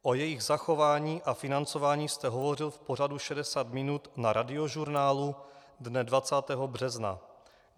O jejich zachování a financování jste hovořil v pořadu 60 minut na Radiožurnálu dne 20. března.